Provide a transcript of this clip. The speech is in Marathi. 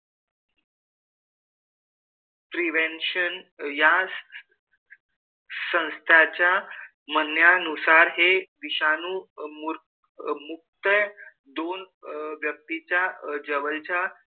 Prevention या संस्थेच्या म्हणण्यानुसार हे विषाणू मूर मुक्त दोन व्यक्तींच्या जवळच्या,